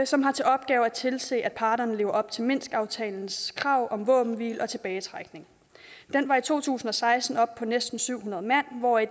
som har til opgave at tilse at parterne lever op til minskaftalens krav om våbenhvile og tilbagetrækning den var i to tusind og seksten oppe på næsten syv hundrede mand hvoraf